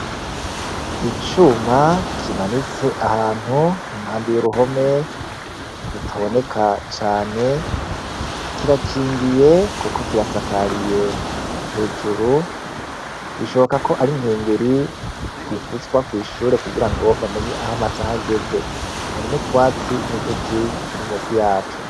Icuma kimanitse ahantu impande y' uruhome, rutaboneka cane, kirakingiye kuko kirasakariye . Hejuru bishoboka ko ari inkengeri ivuzwa kw' ishuri kugirango bamenye aho amasaha ageze. Hari n' utwatsi n' uduti turi munsi yaco.